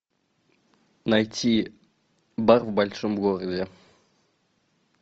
найти бар в большом городе